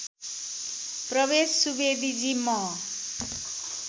प्रवेश सुवेदीजी म